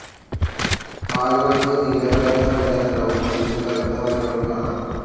കാലുകൾക്ക് നീലകലർന്ന വെള്ള നിറവും അതിൽ കറുത്ത വരകളും കാണാം.